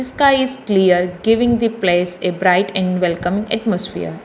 The sky is clear giving the place a bright and welcome atmosphere.